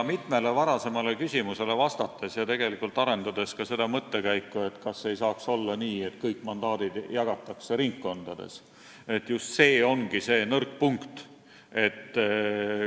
Mitmele varasemale küsimusele vastates – ja arendades ka seda mõttekäiku, kas ei võiks olla nii, et kõik mandaadid jagatakse ringkondades – ütlen, et just see ongi see nõrk punkt.